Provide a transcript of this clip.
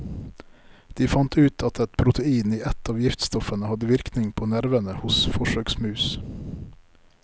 De fant ut at et protein i ett av giftstoffene hadde virkning på nervene hos forsøksmus.